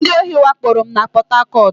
Ndị ohi wakporo m na Pọt Hakọt